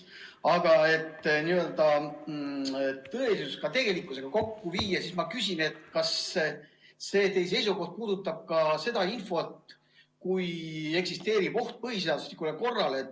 Aga et tõelisus ka tegelikkusega kokku viia, siis ma küsin, kas teie seisukoht puudutab ka seda infot, kui eksisteerib oht põhiseaduslikule korrale.